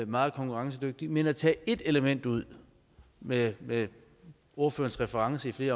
meget konkurrencedygtige men at tage ét element ud med med ordførerens reference til